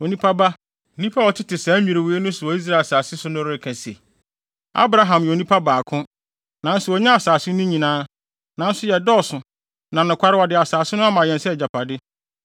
“Onipa ba, nnipa a wɔtete saa nnwiriwii so wɔ Israel asase no so no reka se, ‘Abraham yɛ onipa baako, nanso onyaa asase no nyinaa. Nanso yɛdɔɔso, na nokware wɔde asase no ama yɛn sɛ yɛn agyapade.’